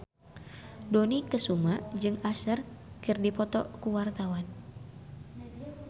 Dony Kesuma jeung Usher keur dipoto ku wartawan